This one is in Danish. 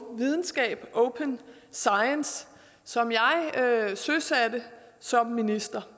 videnskab open science som jeg søsatte som minister